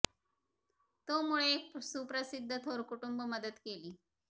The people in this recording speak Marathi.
तो मुळे एक सुप्रसिद्ध थोर कुटुंब मदत केली